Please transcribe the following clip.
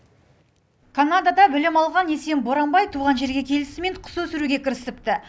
канадада білім алған есен боранбай туған жерге келісімен құс өсіруге кірісіпті